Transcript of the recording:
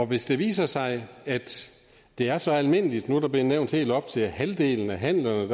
hvis det viser sig at det er så almindeligt nu er det blevet nævnt helt op til halvdelen af handlerne